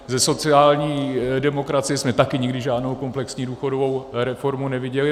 Ze sociální demokracie jsme taky nikdy žádnou komplexní důchodovou reformu neviděli.